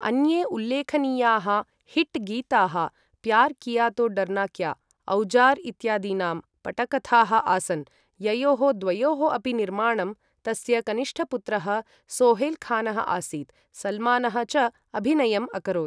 अन्ये उल्लेखनीयाः हिट् गीताः प्यार किया तो दरना क्या, औजार इत्यादीनां पटकथाः आसन्, ययोः द्वयोः अपि निर्माणं तस्य कनिष्ठपुत्रः सोहेलखानः आसीत्, सलमानः च अभिनयम् अकरोत् ।